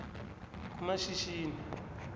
kumashishini